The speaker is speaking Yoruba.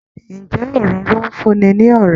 Ǹjẹ́ Òróró ń fún ni ní ọ̀rá?